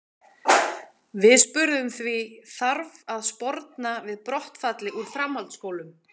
Við spurðum því, þarf að sporna við brottfalli úr framhaldsskólum?